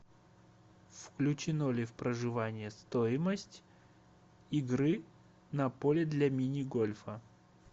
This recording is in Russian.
включено ли в проживание стоимость игры на поле для мини гольфа